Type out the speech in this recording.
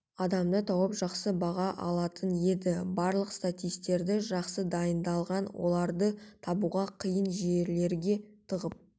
адамды тауып жақсы баға алатын еді барлық статисттерді жақсы дайындалған оларды табуға қиын жерлерге тығып